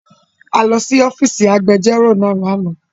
A lọ si ọfiisi agbẹjọro naa lana